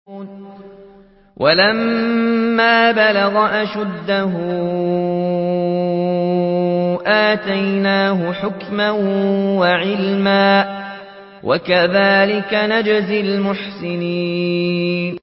وَلَمَّا بَلَغَ أَشُدَّهُ آتَيْنَاهُ حُكْمًا وَعِلْمًا ۚ وَكَذَٰلِكَ نَجْزِي الْمُحْسِنِينَ